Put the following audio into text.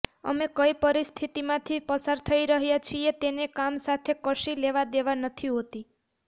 અમે કઇ પરિસ્થિતિમાંથી પસાર થઇ રહ્યા છીએ તેને કામ સાથે કશી લેવા દેવા નથી હોતી